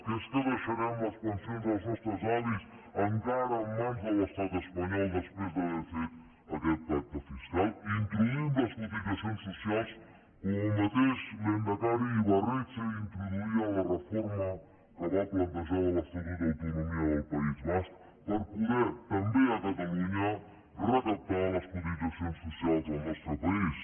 que és que deixarem les pensions dels nostres avis encara en mans de l’estat espanyol després d’haver fet aquest pacte fiscal introduïm les cotitzacions socials com el mateix lehendakari ibarretxe introduïa en la reforma que va plantejar de l’estatut d’autonomia del país basc per poder també a catalunya recaptar les cotitzacions socials del nostre país